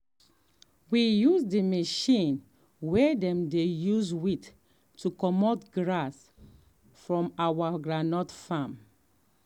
we use um um machine way dem dey use weed to commot grass from our um groundnut um farm.